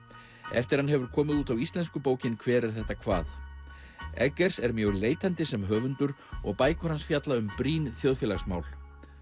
eftir hann hefur komið út á íslensku bókin hver er þetta hvað er mjög leitandi sem höfundur og bækur hans fjalla um brýn þjóðfélagsmál